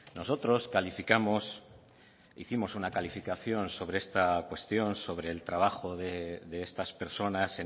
nosotros calificamos hicimos una calificación sobre esta cuestión sobre el trabajo de estas personas